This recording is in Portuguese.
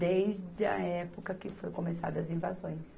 desde a época que foi começadas as invasões.